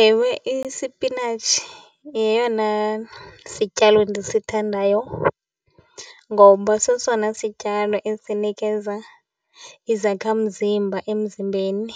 Ewe, isipinatshi yeyona sityalo ndisithandayo ngoba sesona sityalo esinikeza izakhamzimba emzimbeni.